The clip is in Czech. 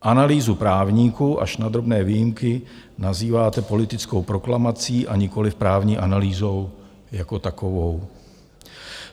Analýzu právníků až na drobné výjimky nazýváte politickou proklamací a nikoliv právní analýzou jako takovou.